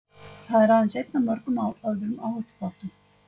Það er aðeins einn af mörgum öðrum áhættuþáttum.